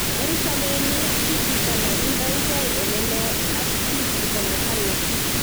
Eng sobenyi ki chito ne indoigei ole loo, ak ki chita ne kali.